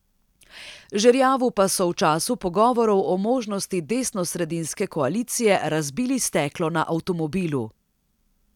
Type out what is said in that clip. Žerjavu pa so v času pogovorov o možnosti desnosredinske koalicije razbili steklo na avtomobilu.